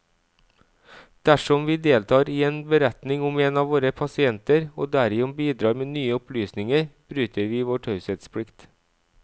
Dersom vi deltar i en beretning om en av våre pasienter, og derigjennom bidrar med nye opplysninger, bryter vi vår taushetsplikt.